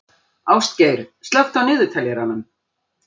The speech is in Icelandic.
Ástgeir, slökktu á niðurteljaranum.